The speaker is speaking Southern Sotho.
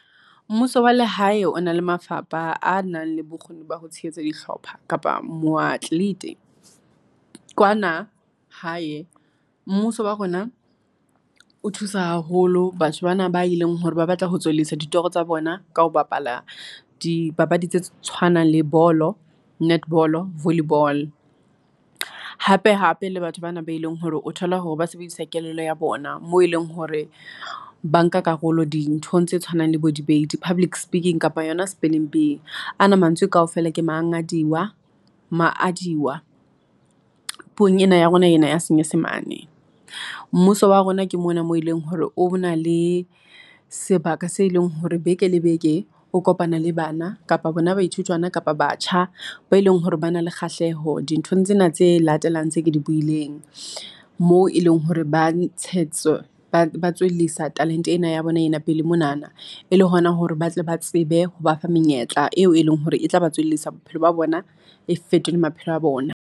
Mmuso wa lehae o na le mafapha a nang le bokgoni ba ho tshehetsa dihlopha kapa moatlete. Kwana hae mmuso wa rona o thusa haholo batho bana ba e leng hore ba batla ho tswellisa ditoro tsa bona ka ho bapala dipapadi tse tshwanang le bolo, netball-o, volley ball. Hape hape le batho bana be leng hore o thole hore ba sebedisa kelello ya bona moo e leng hore ba nka karolo dinthong tse tshwanang le bo-debate, public speaking kapa yona spelling bee a na mantswe kaofela ke maangadiwa, maadiwa puong ena ya rona ena ya senyesemane. Mmuso wa rona ke mona mo e leng hore o na le sebaka se leng hore beke le beke o kopana le bana kapa bona baithutwana kapa batjha, bao e leng hore ba na le kgahleho dinthong tsena tse latelang tse ke di buileng. Moo e leng hore ba ba tswellisa talent-e ena ya bona ena pele monana, e le hona hore ba tle ba tsebe ho ba fa menyetla eo e leng hore e tla ba tswellisa bophelo ba bona e fetole maphelo a bona.